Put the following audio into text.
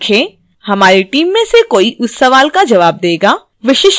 हमारी team में से कोई उस सवाल का जवाब देगा